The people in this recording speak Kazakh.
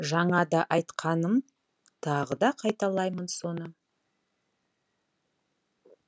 жаңа да айтқанмын тағы да қайталаймын соны